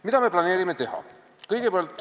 Mida me planeerime teha?